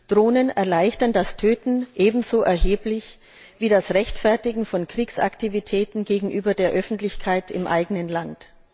Drohnen erleichtern das Töten ebenso erheblich wie das Rechtfertigen von Kriegsaktivitäten gegenüber der Öffentlichkeit im eigenen Land.